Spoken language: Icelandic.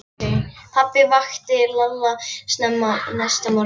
Pabbi vakti Lalla snemma næsta morgun.